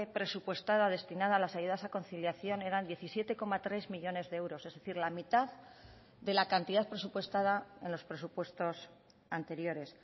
presupuestada destinada a las ayudas a conciliación eran diecisiete coma tres millónes de euros es decir la mitad de la cantidad presupuestada en los presupuestos anteriores